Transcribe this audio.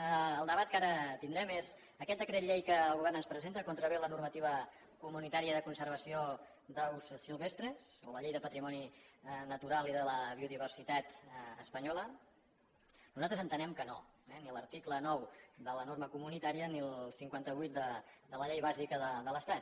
el debat que ara tindrem és aquest decret que el govern ens presenta contravé la normativa comunitària de conservació d’aus silvestres o la llei de patrimoni natural i de la biodiversitat espanyola nosaltres entenem que no eh ni l’article nou de la norma comunitària ni el cinquanta vuit de la llei bàsica de l’estat